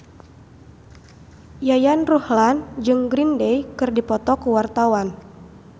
Yayan Ruhlan jeung Green Day keur dipoto ku wartawan